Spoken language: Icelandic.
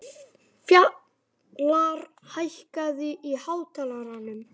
Fjalarr, hækkaðu í hátalaranum.